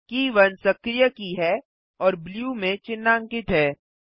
के 1 सक्रिय की है और ब्लू में चिन्हांकित है